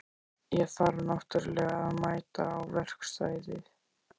Ég þarf náttúrlega að mæta á verkstæðið.